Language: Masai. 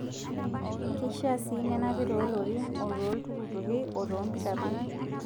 Keishaa sii nenapi too lorin, otoo ltukutuki, otoo mpikapi.